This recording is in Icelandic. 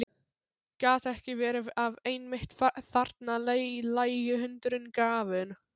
Gat ekki verið að einmitt þarna lægi hundurinn grafinn?